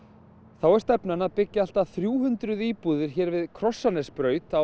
þá er stefnan að byggja allt að þrjú hundruð íbúðir hér við